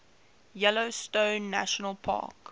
yellowstone national park